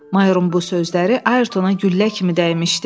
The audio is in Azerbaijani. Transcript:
Mayorun bu sözləri Ayrtona güllə kimi dəymişdi.